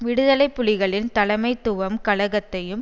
விடுதலை புலிகளின் தலைமைத்துவம் கலகத்தையும்